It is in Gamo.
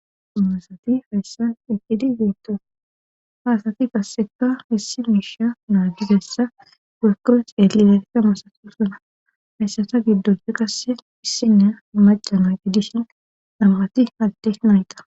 Masati hayssa eqqidi zeento haasati kasseka hissi miisha naadigessa gakko ceelli latika masati usuna hayssata giddon kasse issinne macama giddishin dhammati halti nayta.